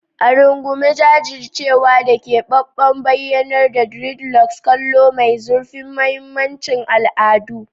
A rungume jajircewa da keɓaɓɓen bayyanar dreadlocks, kallo mai zurfin mahimmancin al'adu.